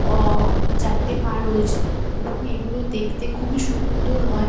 অঅ- চারটে পা রয়েছে এবং এগুলো দেখতে খুবই সুন্দর হয়।